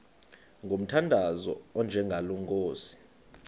ngomthandazo onjengalo nkosi